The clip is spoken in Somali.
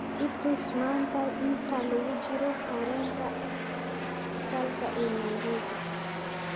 i tus maanta inta lagu jiro tareenka kalka ee nairobi